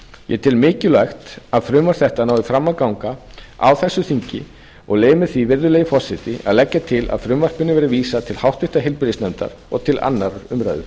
ég tel mikilvægt að frumvarp þetta nái fram að ganga á þessu þingi og leyfi mér því virðulegi forseti að leggja til að frumvarpinu verði vísað til háttvirtrar heilbrigðisnefndar og til annarrar umræðu